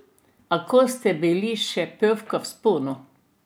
A ko ste bili še pevka v vzponu?